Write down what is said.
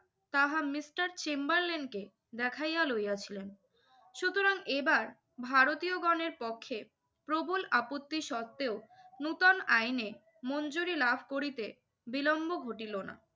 তাহা মিস্টার চেম্বারলেনকে দেখাইয়া লইয়াছিলেন। সুতরাং এবার ভারতীয়গণের পক্ষে প্রবল আপত্তি সত্ত্বেও নতুন আইনে মঞ্জুরি লাভ করিতে বিলম্ব ঘটিল না।